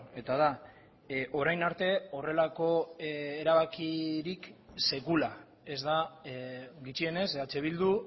eta da orain arte horrelako erabakirik sekula ez da gutxienez eh bildu